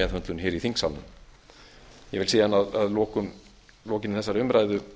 meðhöndlun hér í þingsalnum ég vil síðan að lokinni þessari umræðu